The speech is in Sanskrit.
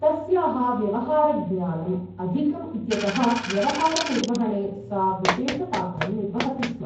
तस्याः व्यवहारज्ञानम् अधिकम् इत्यतः व्यवहारनिर्वहणे सा विशेषपात्रं निर्वहति स्म ।